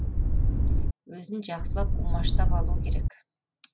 өзін жақсылап умаштап алу керек